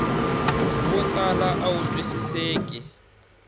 swo tala a wu twisiseki